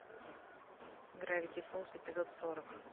гравити фолз эпизод сорок